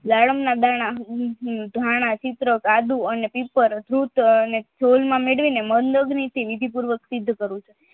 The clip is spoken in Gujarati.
વ્યાયામ ના બારણાં ઘણા ચિત્ર આદુ વિધિ પૂરવક સિદ્ધ કર્યું છે